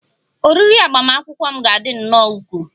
Oriri agbamakwụkwọ m ga-adị nnọọ ukwuu